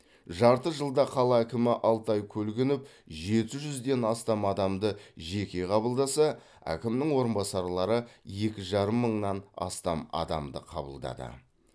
жарты жылда қала әкімі алтай көлгінов жеті жүзден астам адамды жеке қабылдаса әкімнің орынбасарлары екі жарым мыңнан астам адамды қабылдады